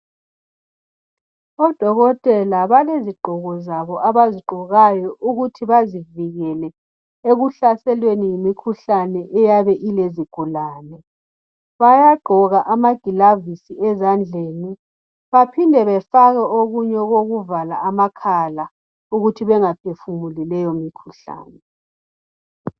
Odokotela balezigqoko zabo abazigqokayo ukuthi bazivikele ekuhlaselweni yimikhuhlane eyabe ilezigulane. Bayagqoka ama gilavisi ezandleni baphinde bafake okunye okokuvala amakhala ukuthi banga phefumuli leyo mikhuhlane.